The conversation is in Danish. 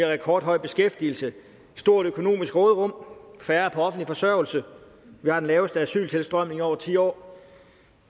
rekordhøj beskæftigelse et stort økonomisk råderum færre på offentlig forsørgelse vi har den laveste asyltilstrømning i over ti år